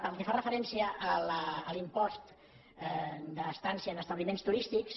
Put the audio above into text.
pel que fa referència a l’impost d’estada en establiments turístics